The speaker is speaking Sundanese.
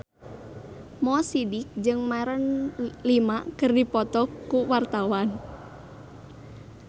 Mo Sidik jeung Maroon 5 keur dipoto ku wartawan